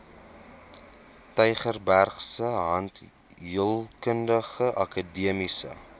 tygerbergse tandheelkundige akademiese